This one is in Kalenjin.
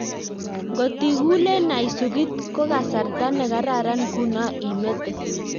Ngotikulee naisokit kokasartaa nekararan ngunoo imetee